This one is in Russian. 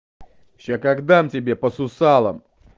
сейчас как дам тебе по сусалам